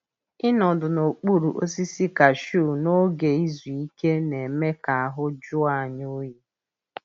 Ịnọdụ n’okpuru osisi kashiu n’oge izu ike na-eme ka ahụ jụọ anyị oyi.